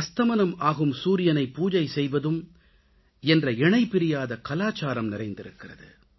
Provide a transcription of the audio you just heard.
அஸ்தமனம் ஆகும் சூரியனை பூஜை செய்வதும் என்ற இணைபிரியாத கலாச்சாரம் நிறைந்திருக்கிறது